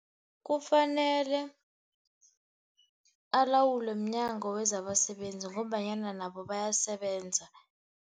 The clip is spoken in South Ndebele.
Kufanele alawulwe mNyango wezabaSebenzi ngombanyana nabo bayasebenza.